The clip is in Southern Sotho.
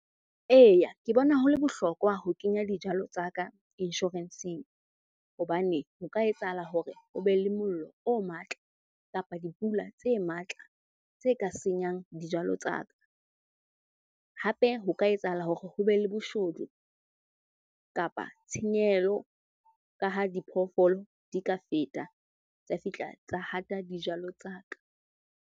Eya, ke bona ho le bohlokwa ho kenya dijalo tsa insurance-eng hobane ho ka etsahala hore ho be le mollo o matla kapa dipula tse matla tse ka senyang dijalo tsa ka. Hape ho ka etsahala hore ho be le boshodu kapa tshenyehelo ka ha diphoofolo di ka feta tsa fihla tsa hata dijalo tsa ka.